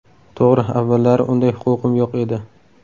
To‘g‘ri, avvallari unday huquqim yo‘q edi.